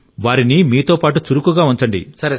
వారిని మీతో పాటు చురుకుగా ఉంచండి